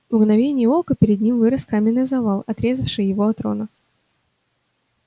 в мгновение ока перед ним вырос каменный завал отрезавший его от рона